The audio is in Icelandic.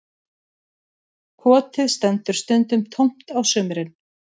Kotið stendur stundum tómt á sumrin